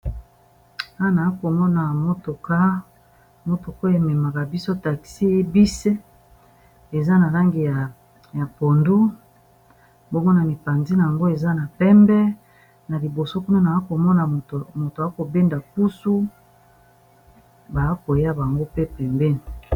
Awa na komona motoka, motoka ememaka biso taxi bus. Eza na ĺangi ya pondu. Mbongo na mipanzi na yango, eza na pembe na liboso. Kuna, na komona moto akobenda pusu, ba koya bango pe pembeni.